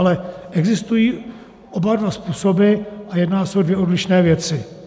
Ale existují oba dva způsoby a jedná se o dvě odlišné věci.